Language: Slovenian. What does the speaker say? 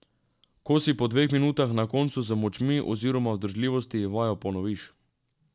Ko si po dveh minutah na koncu z močmi oziroma vzdržljivosti, vajo ponoviš.